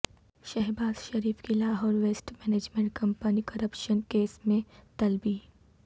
شہباز شریف کی Lahore waste management company corruption case میں طلبی